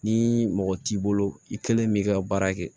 Ni mɔgɔ t'i bolo i kelen b'i ka baara kɛ